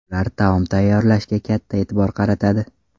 Ular taom tayyorlashga katta e’tibor qaratadi.